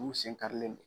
N'u sen karilen don